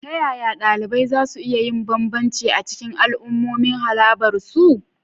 Ta yaya ɗalibai za su iya yin bambanci a cikin al'ummomin harabar su?